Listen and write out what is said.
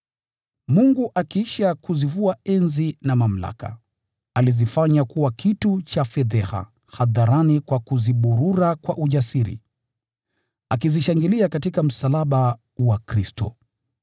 Mungu akiisha kuzivua enzi na mamlaka, alizifanya kuwa kitu cha fedheha hadharani kwa kuziburura kwa ujasiri, akizishinda katika msalaba wa Kristo.